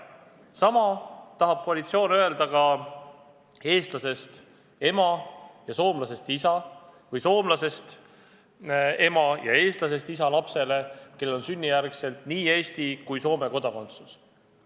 Sama tahab koalitsioon öelda näiteks eestlasest ema ja soomlasest isa või soomlasest ema ja eestlasest isa lapsele, kellel on sünnijärgselt nii Eesti kui Soome kodakondsus.